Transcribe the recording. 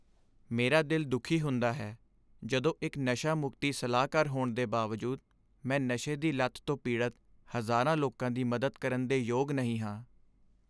ਮੇਰਾ ਦਿਲ ਦੁੱਖੀ ਹੁੰਦਾ ਹੈ ਜਦੋਂ, ਇੱਕ ਨਸ਼ਾ ਮੁਕਤੀ ਸਲਾਹਕਾਰ ਹੋਣ ਦੇ ਬਾਵਜੂਦ, ਮੈਂ ਨਸ਼ੇ ਦੀ ਲਤ ਤੋਂ ਪੀੜਤ ਹਜ਼ਾਰਾਂ ਲੋਕਾਂ ਦੀ ਮਦਦ ਕਰਨ ਦੇ ਯੋਗ ਨਹੀਂ ਹਾਂ।